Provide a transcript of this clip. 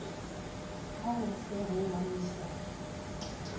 ha ho se ho ngangisanwe